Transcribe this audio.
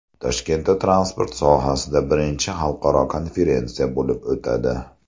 Toshkentda transport sohasida birinchi xalqaro konferensiya bo‘lib o‘tadi.